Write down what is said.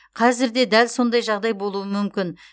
қазір де дәл сондай жағдай болуы мүмкін